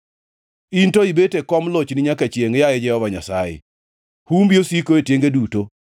In to ibet e kom lochni nyaka chiengʼ, yaye Jehova Nyasaye; humbi osiko e tienge duto.